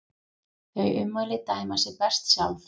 Þau ummæli dæma sig best sjálf.